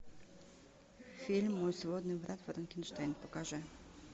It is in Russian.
фильм мой сводный брат франкенштейн покажи